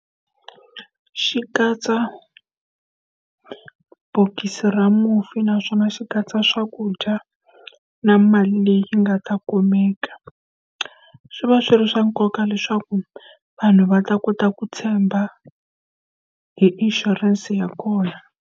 Xi katsa bokisi ra mufi naswona xi katsa swakudya, na mali leyi yi nga ta kumeka. Swi va swi ri swa nkoka leswaku vanhu va ta kota ku tshemba hi inshurense ya kona.